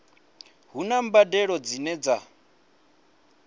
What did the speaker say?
hu na mbadelo dzine dza